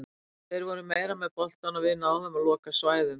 Þeir voru meira með boltann og við náðum að loka svæðum.